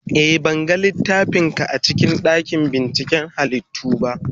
A'a, ban ga littafin ka a cikin dakin binciken halittu ba.